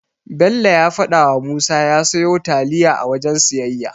Bello ya fadawa Musa ya siyo taliya a wajen siyayya.